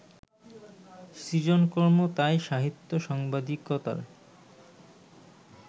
সৃজনকর্ম তাই সাহিত্য-সাংবাদিকতার